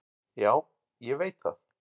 """Já, ég veit það."""